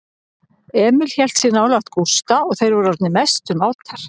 Emil hélt sig nálægt Gústa og þeir voru orðnir mestu mátar.